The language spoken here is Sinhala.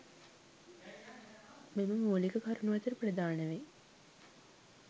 මෙම මූලික කරුනු අතර ප්‍රධාන වෙයි.